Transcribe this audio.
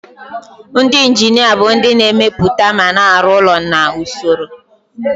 Ndị injinia bụ ndị na-emepụta ma na-arụ ụlọ na usoro.